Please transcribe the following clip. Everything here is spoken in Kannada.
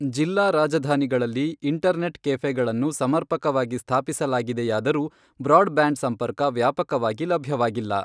ಜಿಲ್ಲಾ ರಾಜಧಾನಿಗಳಲ್ಲಿ ಇಂಟರ್ನೆಟ್ ಕೆಫೆಗಳನ್ನು ಸಮರ್ಪಕವಾಗಿ ಸ್ಥಾಪಿಸಲಾಗಿದೆಯಾದರೂ ಬ್ರಾಡ್ ಬ್ಯಾಂಡ್ ಸಂಪರ್ಕ ವ್ಯಾಪಕವಾಗಿ ಲಭ್ಯವಾಗಿಲ್ಲ.